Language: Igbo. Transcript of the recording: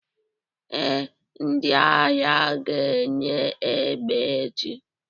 ee, ndị agha ga-enye egbe echi